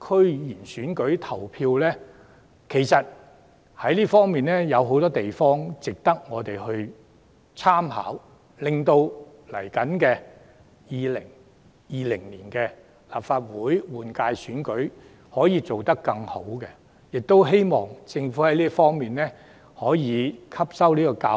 區議會選舉，有很多地方值得我們參考，令2020年舉行的立法會選舉可以做得更好，我希望政府能從中汲取教訓。